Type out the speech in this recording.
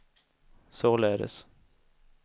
således